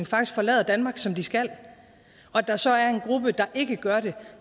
faktisk forlader danmark som de skal og at der så er en gruppe der ikke gør det